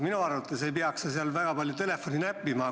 Minu arvates ei peaks sa seal väga palju telefoni näppima.